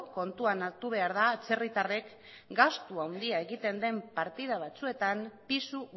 kontuan hartu behar da atzerritarrek gastu handia egiten den partida batzuetan pisu